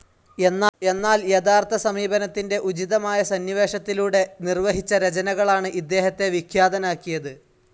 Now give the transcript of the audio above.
എന്നാൽ യഥാതഥ സമീപനത്തിന്റെ ഉചിതമായ സന്നിവേശത്തിലൂടെ നിർവഹിച്ച രചനകളാണ് ഇദ്ദേഹത്തെ വിഖ്യാതനാക്കിയത്.